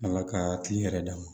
Ala ka kiliyan yɛrɛ dama